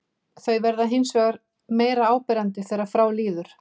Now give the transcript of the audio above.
Þau verða hins vegar meira áberandi þegar frá líður.